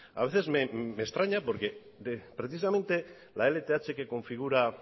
a veces me extraña porque precisamente la lth que configura